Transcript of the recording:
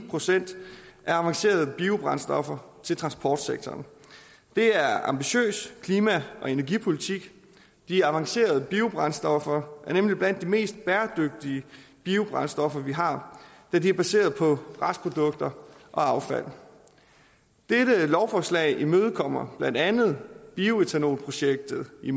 procent af avancerede biobrændstoffer til transportsektoren det er ambitiøs klima og energipolitik de avancerede biobrændstoffer er nemlig blandt de mest bæredygtige biobrændstoffer vi har da de er baseret på restprodukter og affald dette lovforslag imødekommer blandt andet bioætanolprojektet i